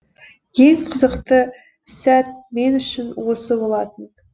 ең қызықты сәт мен үшін осы болатын